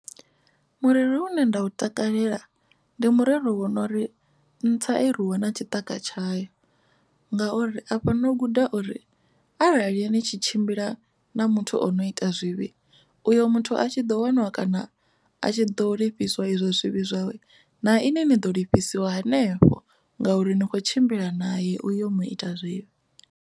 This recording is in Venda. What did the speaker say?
Murero une nda u takalela ndi murero wono uri ntsa i rwiwa na tshitika tshayo ngauri a fhano u guda uri arali ni tshi tshimbila na muthu ono u ita zwivhi uyo muthu a tshi ḓo waniwa kana a tshi ḓo lifhiswa izwo zwivhi zwawe na ini ni ḓo lifhiwa hanefho ngauri ni kho tshimbila naye uyo mu ita zwivhi.